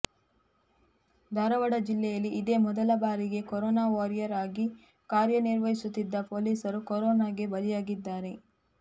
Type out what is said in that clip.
ಧಾರವಾಡ ಜಿಲ್ಲೆಯಲ್ಲಿ ಇದೇ ಮೊದಲ ಬಾರಿಗೆ ಕೊರೊನಾ ವಾರಿಯರ್ ಆಗಿ ಕಾರ್ಯನಿರ್ವಹಿಸುತ್ತಿದ್ದ ಪೊಲೀಸರೊಬ್ಬರು ಕೊರೊನಾಗೆ ಬಲಿಯಾಗಿದ್ದಾರೆ